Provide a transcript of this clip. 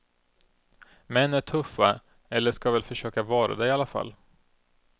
Män är tuffa, eller ska väl försöka vara det i alla fall.